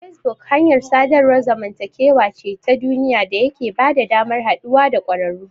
Facebook hanyar sadarwar zamantakewa ce ta duniya da yake bada damar haɗuwa da ƙwararru.